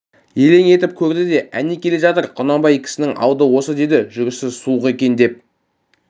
елең етіп көрді де әне келе жатыр құнанбай кісісінің алды осы деді жүрісі суық екен деп